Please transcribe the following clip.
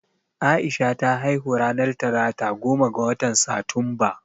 Aisha ta haihu ranar talata goma ga watan Satumba